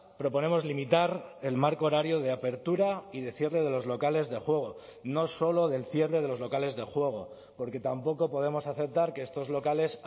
proponemos limitar el marco horario de apertura y de cierre de los locales de juego no solo del cierre de los locales de juego porque tampoco podemos aceptar que estos locales